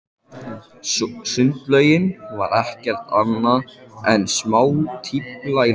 Sundlaugin var ekki annað en smástífla í læk.